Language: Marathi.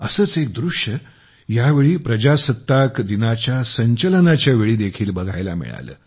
असेच एक दृश्य आम्हांला या वेळी गणतंत्र दिवसाच्या परेडमध्ये देखील बघायला मिळाले